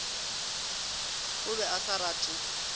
o be a sa rate